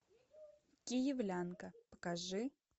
киевлянка покажи